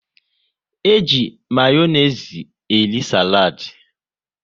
E ji Mayonezi eri saladi